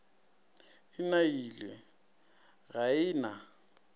e nailwe ga e na